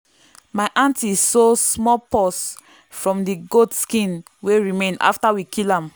my aunty sew small purse from the goat skin wey remain after we kill am.